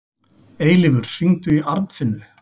Eilífur, hringdu í Arnfinnu.